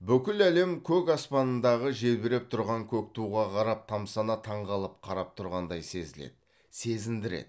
бүкіл әлем көк аспандағы желбіріп тұрған көк туға қарап тамсана таңғалып қарап тұрғандай сезіледі сезіндіреді